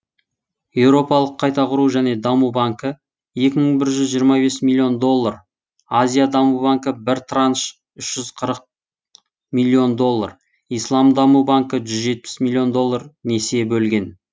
еуропалық қайта құру және даму банкі екі мың бір жүз жиырма бес миллион доллар азия даму банкі бір транш үш жүз қырық миллион доллар ислам даму банкі жүз жетпіс миллион доллар несие бөлген